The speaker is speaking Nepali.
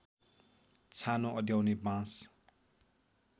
छानो अड्याउने बाँस